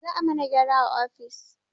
Za a mana gyara a ofis